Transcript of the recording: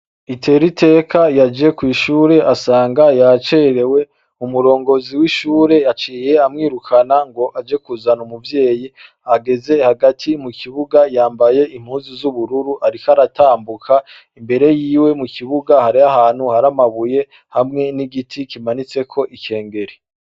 Iteriteka yaje kw'ishure asanga yacerewe umurongozi w'ishure yaciye amwirukana ngo aje kuzana umuvyeyi ageze hagati mukibuga yambaye impuzu z'ubururu ariko aratambuka imbere yiwe mukibuga hariho ahantu hari amabuye hamwe n'igiti kimanitseko ikengeri.